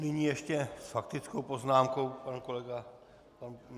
Nyní ještě s faktickou poznámkou pan kolega...